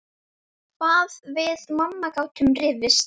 Hvað við mamma gátum rifist.